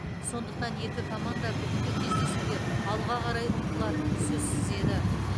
сондықтан екі команда бүгінгі кездесуде алға қарай ұмтылатыны сөзсіз еді